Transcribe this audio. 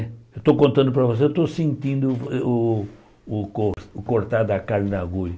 Eu estou contando para você, eu estou sentindo o o o o cortar da carne na agulha.